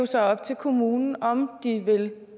så op til kommunen om de vil